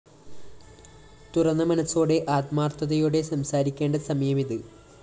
തുറന്നമനസോടെ ആത്മാര്‍ഥതയോടെ സംസാരിക്കേണ്ട സമയമിത്